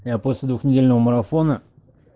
я после двухнедельного марафона